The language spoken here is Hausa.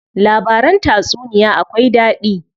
Labaran tatsuniya akwai daɗi.